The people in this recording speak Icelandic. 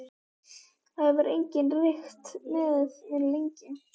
Það hefur enginn reykt með mér lengi.